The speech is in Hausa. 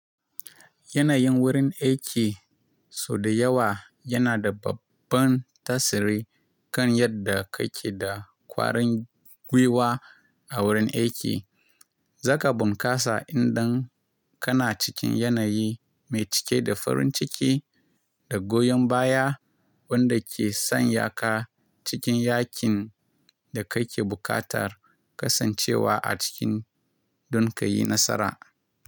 Yanayin wurin aiki sau da yawa yana da babban tasiri kan yadda kake da ƙwarin gwiwa a wurin aiki. Zaka bunkasa idan kana cikin yanayi mai cike da farin ciki da goyon baya wanda ke sanya ka cikin yakin da kake buƙatar kasancewa a ciki don ka yi nasara.